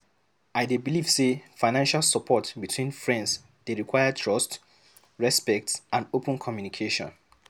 I dey believe say financial support between friends dey require trust, respect, and open communication.